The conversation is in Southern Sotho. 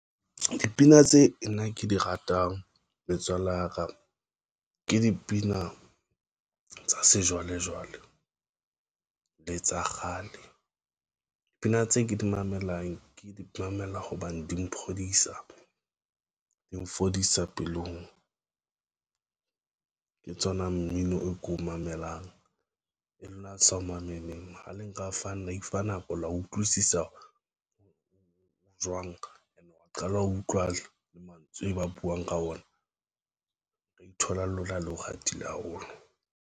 Dipina tse nna ke di ratang metswalle ya ka ke dipina tsa sejwalejwale le tsa kgale. Dipina tse ke di mamelang ke di mamela hobane di maphodisa di mfodisa pelong ke tsona mmino o ko mamelang e lona le sa ho maneneng ho le nka fana ifa nako line Utlwisisa jwang? And wa qala ho utlwa le mantswe e ba puong ka ona re ithola le lona le ho ratile haholo.